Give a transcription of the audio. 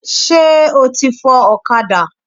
Ṣé o ti fọ ọ̀kadà?